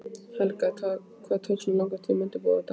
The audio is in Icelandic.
Helga: Hvað tók svona langan tíma að undirbúa þetta?